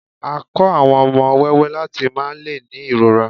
a ko àwọn ọmọ wẹwẹ lati máà le ni irọra